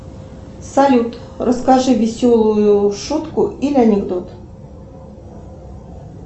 салют расскажи веселую шутку или анекдот